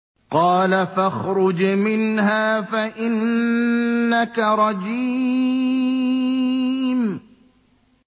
قَالَ فَاخْرُجْ مِنْهَا فَإِنَّكَ رَجِيمٌ